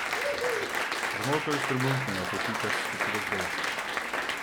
Zamolklo je štrbunknilo, ko je Pika skočila z drevesa.